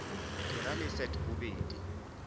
ke ra le leset bobedi